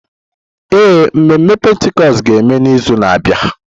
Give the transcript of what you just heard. Ee, mmemme Pentikọst ga-eme n'izu na-abịa.